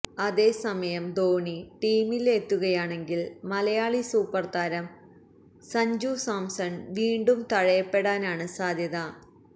അതേ സമയം ധോണി ടീമിലെത്തുകയാണെങ്കിൽ മലയാളി സൂപ്പർ താരം സഞ്ജു സാംസൺ വീണ്ടും തഴയപ്പെടാനാണ് സാധ്യത